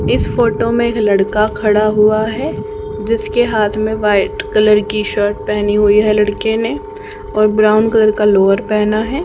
इस फोटो में एक लड़का खड़ा हुआ है जिसके हाथ में व्हाइट कलर की शर्ट पहनी हुई है लड़के ने और ब्राउन कलर का लोवर पहना है।